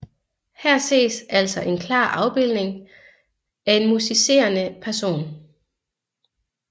Her ses altså en klar afbildning af en musicerende person